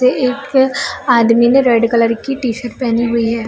पे एक आदमी ने रेड कलर की टी शर्ट पहनी हुई है।